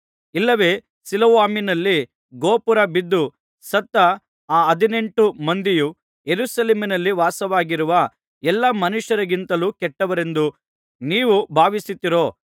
ಇಲ್ಲವೆ ಸಿಲೊವಾಮಿನಲ್ಲಿ ಗೋಪುರ ಬಿದ್ದು ಸತ್ತ ಆ ಹದಿನೆಂಟು ಮಂದಿಯು ಯೆರೂಸಲೇಮಿನಲ್ಲಿ ವಾಸವಾಗಿರುವ ಎಲ್ಲಾ ಮನುಷ್ಯರಿಗಿಂತಲೂ ಕೆಟ್ಟವರೆಂದು ನೀವು ಭಾವಿಸುತ್ತೀರೋ